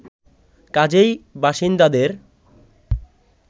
কাজেই বাসিন্দাদের